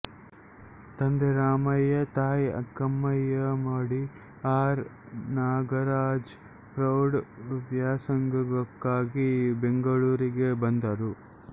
ತಂದೆ ರಾಮಯ್ಯ ತಾಯಿ Akkayyamma D R Nagaraja ಪ್ರೌಢ ವ್ಯಾಸಂಗಕ್ಕಾಗಿ ಬೆಂಗಳೂರಿಗೆ ಬಂದರು